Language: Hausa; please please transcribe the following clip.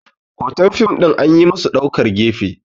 hoton fim ɗin an yi musu ɗaukar gefe